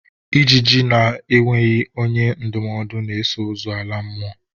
Ijiji na-enweghi onye ndụmọdụ na-eso ozu ala n'ime ili!